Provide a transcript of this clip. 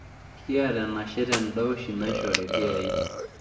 Kiata enashe tendaa oshi naishori ilkiyai.